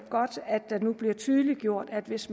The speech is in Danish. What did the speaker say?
det nu bliver tydeliggjort at hvis